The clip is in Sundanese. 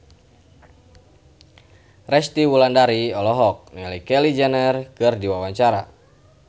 Resty Wulandari olohok ningali Kylie Jenner keur diwawancara